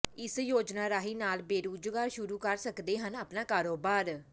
ਇਸ ਯੋਜਨਾ ਰਾਹੀਂ ਨਾਲ ਬੇਰੁਜਗਾਰ ਸ਼ੁਰੂ ਕਰ ਸਕਦੇ ਹਨ ਆਪਣਾ ਕਾਰੋਬਾਰ